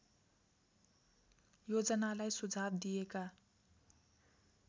योजनालाई सुझाव दिएका